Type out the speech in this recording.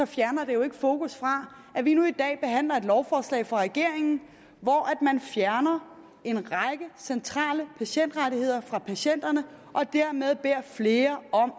fjerner det jo ikke fokus fra at vi nu i dag behandler et lovforslag fra regeringen hvor man fjerner en række centrale patientrettigheder fra patienterne og dermed beder flere om